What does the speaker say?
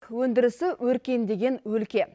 өндірісі өркендеген өлке